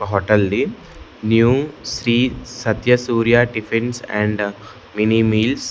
Hotel the new Shri Satya Surya tiffins and mini meals .